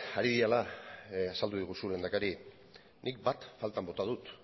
ari direla azaldu diguzu lehendakari nik bat faltan bota dut